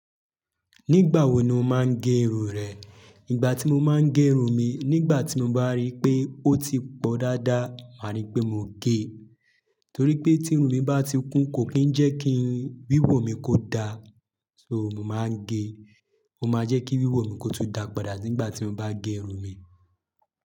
Nígbàwo ni o máa ń gẹ irun rẹ̀? Ìgbà tí mo máa ń gẹ irun mi, nígbà tí mo bá rí pé ó ti pọ̀ dáadáa, màá rí pé mo gẹ, torí pé tí irun mi bá ti kún kò kí ń jẹ́ kí n wíwò mi kó da, so mo máa ń gẹ. Ó má jẹ́ kí wíwò mi kó tún dáa padà nígbà tí mo bá gé irun mi.